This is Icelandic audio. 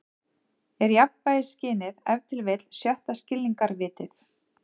Er jafnvægisskynið ef til vill sjötta skilningarvitið?